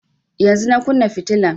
Yanzun na kunna fitilan